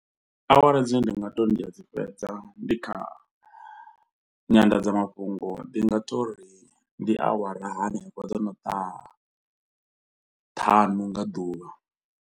Awara dzine ndi nga tou ndi a dzi fhedza ndi kha nyanḓadzamafhungo ndi nga tou ri ndi awara hanefho dzo no ṱaha ṱhanu nga ḓuvha.